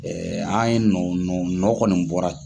an ye nɔ nɔ nɔ kɔni bɔra.